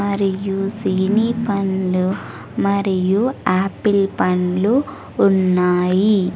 మరియు సినిపండ్లు మరియు ఆపిల్ పండ్లు ఉన్నాయి.